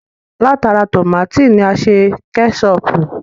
Látara tómátì ni a ti ṣe Kẹ́ṣọpù